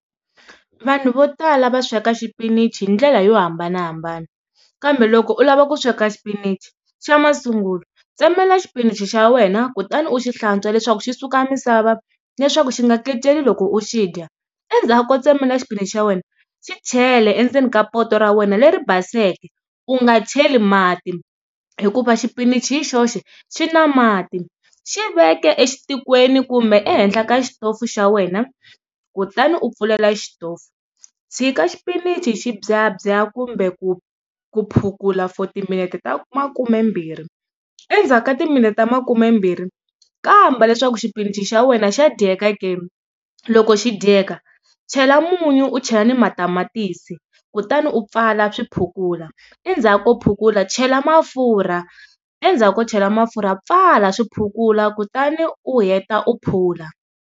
Vanhu vo tala va sweka xipinichi hi ndlela yo hambanahambana kambe loko u lava ku sweka xipinichi xa masungulo tsemelela xipinichi xa wena kutani u xi hlantswa leswaku xi suka misava leswaku xi nga keceli loko u xi dya, endzhaku ko tsemelela xipinichi xa wena xi chele endzeni ka poto ra wena leri baseke. U nga cheli mati hikuva xipinichi hi xoxe xi na mati xi veke exitikweni kumbe ehenhla ka xitofu xa wena kutani u pfulela xitofu. Tshika xipinichi xi byabya kumbe ku phukula for timinete ta makumembirhi endzhaku ka timinete ta makumembirhi kamba leswaku xipinichi xa wena xa dyeka ke, loko xi dyeka chela munyu u chela na matamatisi kutani u pfala swi phukula endzhaku ko phukula chela mafurha endzhaku ko chela mafurha pfala swi phukula kutani u heta u phula.